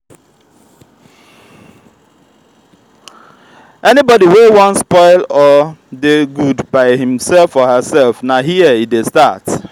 anybody wey won spoil or de good by himself or herself na here e de start